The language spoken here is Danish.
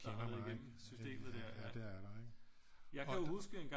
Der har været igennem systemet der ja jeg kan jo huske engang